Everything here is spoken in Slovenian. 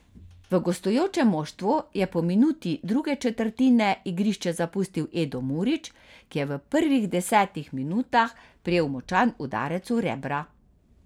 V gostujočem moštvu je po minuti druge četrtine igrišče zapustil Edo Murić, ki je v prvih desetih minutah prejel močan udarec v rebra.